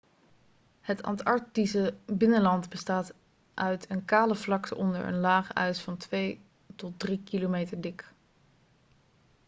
het antarctische binnenland bestaat uit een kale vlakte onder een laag ijs van 2-3 km dik